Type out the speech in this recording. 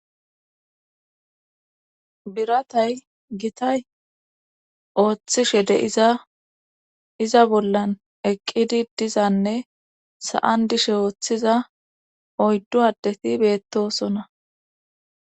Biratay gitay ooththishe de7iza iza bollan eqqidi dizanne sa7an dishe ooththiza oyddu addeti beettosona.